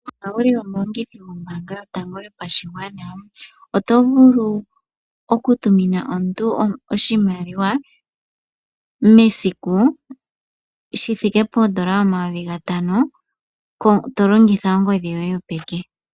Owuli omulongithi gombaanga yotango yopashigwana oto vulu okutumina omuntu oshimaliwa mesiku shithika poondola omayovi gatano tolongitha ongodhi yoye yopeke.